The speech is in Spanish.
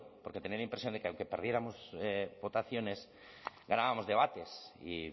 porque tenía la impresión de que aunque perdiéramos votaciones ganábamos debates y